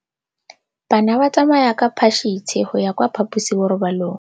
Bana ba tsamaya ka phašitshe go ya kwa phaposiborobalong.